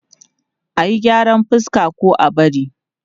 A yi gyaran fuska ko a bari?